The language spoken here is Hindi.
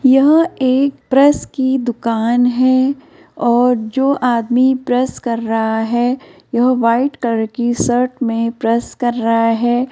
यह एक प्रेस की दुकान है और जो आदमी प्रेस कर रहा है। यह वाइट कलर की शर्ट में प्रेस कर रहा है।